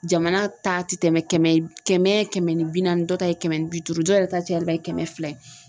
Jamana ta ti tɛmɛ kɛmɛ kɛmɛ ni bi naani dɔ ta ye kɛmɛ ni bi duuru dɔ yɛrɛ ta ye cayalenba ye kɛmɛ fila ye